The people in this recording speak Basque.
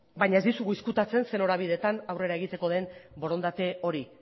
baina ez dizugu ezkutatzen zein norabidetan aurrera egiteko den borondate hori